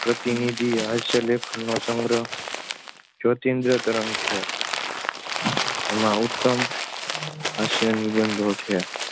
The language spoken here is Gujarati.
પ્રતિનિધિ હાસ્ય લેખનનો સંગ્રહ જ્યોતીન્દ્ર તરંગ છે. એમાં ઉત્તમ હાસ્ય નિબંધો છે.